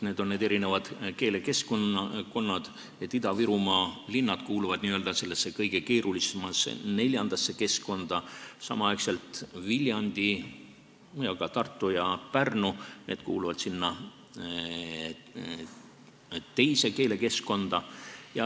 Ida-Virumaa linnad kuuluvad kõige keerulisemasse, neljandasse keskkonda, samal ajal kuuluvad Viljandi, ka Tartu ja Pärnu teise keelekeskkonda.